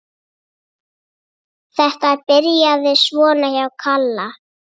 Þetta byrjaði svona hjá Kalla.